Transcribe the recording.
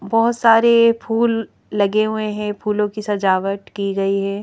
बहुत सारे फूल लगे हुए हैं फूलों की सजावट की गई है।